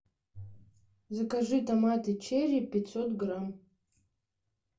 закажи томаты черри пятьсот грамм